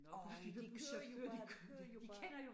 Øj de kører jo bare de kører jo bare